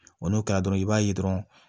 Wa n'o kɛra dɔrɔn i b'a ye dɔrɔn